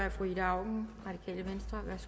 mange penge